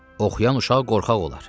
Oxuyan uşaq qorxaq olar.